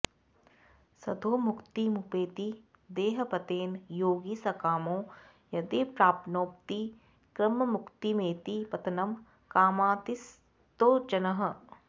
सद्योमुक्तिमुपैति देहपतने योगी सकामो यदि प्राप्नोति क्रममुक्तिमेति पतनं कामातिसक्तो जनः